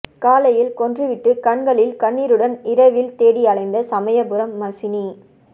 காலையில் கொன்றுவிட்டு கண்களில் கண்ணீருடன் இரவில் தேடி அலைந்த சமயபுரம் மசினி